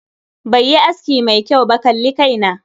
Bai yi aski mai kyau ba, kalli kai na.